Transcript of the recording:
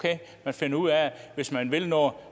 man finder ud af at hvis man vil noget